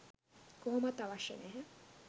කොහොමත් අවශ්‍ය නැහැ.